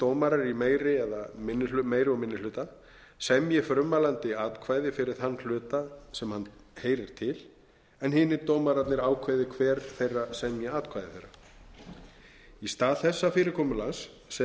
dómarar í meiri og minni hluta semji frummælandi atkvæði fyrir þann hluta sem hann heyrir til en hinir dómararnir ákveði hver þeirra semji atkvæði þeirra í stað þessa fyrirkomulags sem